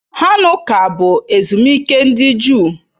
Hanukkah bụ ezumike ndị Juu.